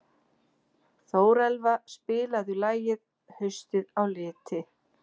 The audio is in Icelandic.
Þórelfa, spilaðu lagið „Haustið á liti“.